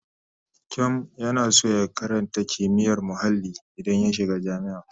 Kyom yana son ya karata kimiyyar muhalli idan ya shiga jami'a.